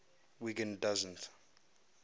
wiggin doesn t